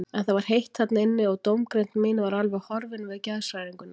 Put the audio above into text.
En það var heitt þarna inni og dómgreind mín var alveg horfin við geðshræringuna.